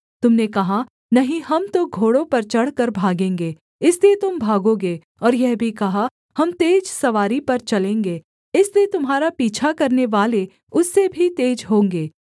तुम ने कहा नहीं हम तो घोड़ों पर चढ़कर भागेंगे इसलिए तुम भागोगे और यह भी कहा हम तेज सवारी पर चलेंगे इसलिए तुम्हारा पीछा करनेवाले उससे भी तेज होंगे